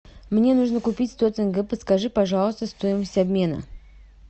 мне нужно купить сто тенге подскажи пожалуйста стоимость обмена